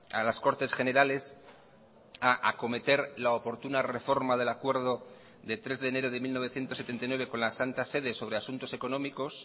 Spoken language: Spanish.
a las cortes generales a acometer la oportuna reforma del acuerdo de tres de enero de mil novecientos setenta y nueve con la santa sede sobre asuntos económicos